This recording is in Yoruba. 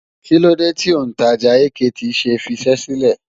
Kílódé tí òǹtajà AKT ṣe fiṣẹ́ sílẹ̀?